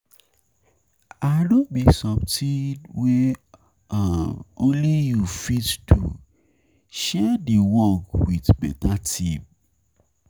If no be something no be something wey um only you fit um do, share di work with better team um